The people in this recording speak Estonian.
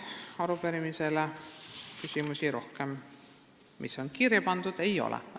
Arupärimises vist rohkem küsimusi kirja pandud ei ole.